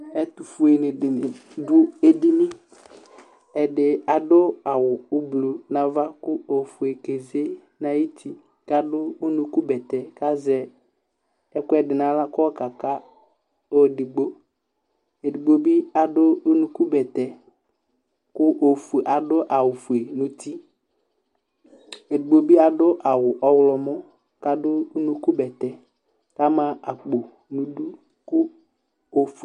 Ɛtʋfuenɩ dɩnɩ dʋ edini Ɛdɩ adʋ aɣʋ ʋblʋ nʋ ava kʋ ofue keze nʋ ayʋ ʋtɩ, kʋ adʋ unukubɛŋtɛ, kʋ azɛ ɛkʋ ɛdɩ nʋ aɣla kʋ ayɔ ka ka ɔlʋ edigbo Edigbo bɩ adʋ unukubɛŋtɛ, kʋ adʋ aɣʋ ofue nʋ uti Edigbo bɩ adʋ aɣʋ ɔɣlɔmɔ kʋ adʋ unukubɛŋtɛ kʋ ama akpo nʋ idu